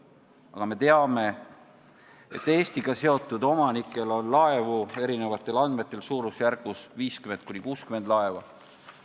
Aga me teame, et Eestiga seotud laevaomanikel on erinevatel andmetel umbes 50–60 laeva.